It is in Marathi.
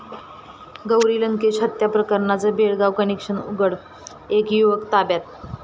गौरी लंकेश हत्या प्रकरणाचं बेळगाव कनेक्शन उघड, एक युवक ताब्यात